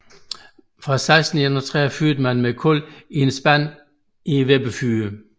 Fra 1631 fyrede man med kul i en spand i vippefyret